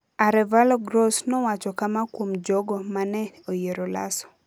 Arévalo Gross nowacho kama kuom jogo ma ne oyiero Lasso: